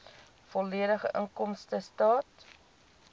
volledige inkomstestaat